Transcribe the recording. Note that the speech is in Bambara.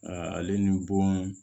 ale ni bon